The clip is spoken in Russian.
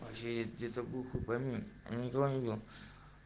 через деревню хупами не говорила